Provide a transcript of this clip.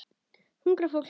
Hungrað fólk.